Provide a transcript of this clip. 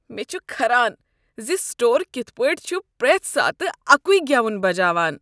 مےٚ چھ کھران ز سٹور کتھ پٲٹھۍ چھ پرٛیتھ ساتہٕ اکُے گٮ۪ون بجاوان۔